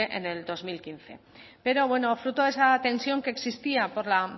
en el veinte mil ciento veinticinco pero bueno fruto de esa tensión que existía porque